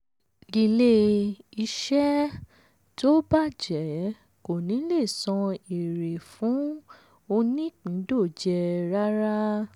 ilé-iṣẹ́ tó bàjẹ́ kò ní lè san ère fún onípindòjé rárá.